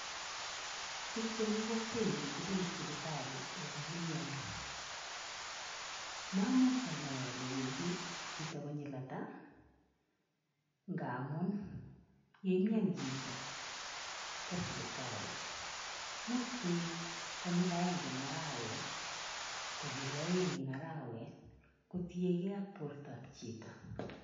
Biik chemi kokwenyu kobendi sipitali olon imiandos, mamuch anai ale wendi chito konyil ata ngamun ye imian chito kwo sipitali, much koek konyil agenge eng arawet, konyil aeng eng arawet kotienkei ak bortoab chito.